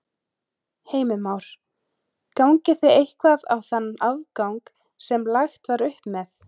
Heimir Már: Gangið þið eitthvað á þann afgang sem að lagt var upp með?